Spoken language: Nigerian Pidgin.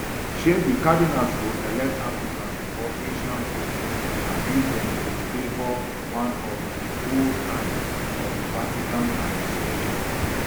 shey di cardinals go elect african or asian pope abi dem go favour one of di old hands of di vatican administration